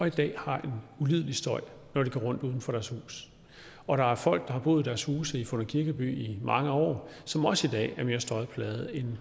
i dag har en ulidelig støj når de går rundt uden for deres hus og der er folk der har boet i deres huse i funder kirkeby i mange år som også i dag er mere støjplaget end